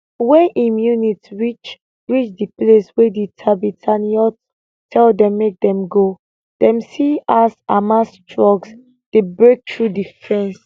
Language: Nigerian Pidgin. wen im unit reach reach di place wey di tatzpitaniyot tell dem make dem go dem see as hamas trucks dey break through di fence